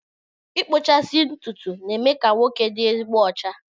Ịkpụchasị ntụtụ na-eme ka nwoke dị ezigbo ọcha